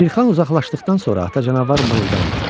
Şirkhan uzaqlaşdıqdan sonra ata canavar mırıldandı.